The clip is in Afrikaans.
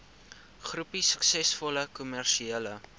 groepie suksesvolle kommersiële